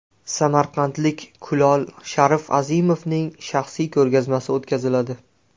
Samarqandlik kulol Sharif Azimovning shaxsiy ko‘rgazmasi o‘tkaziladi.